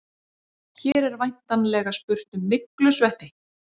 Hér er væntanlega spurt um myglusveppi.